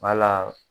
Wala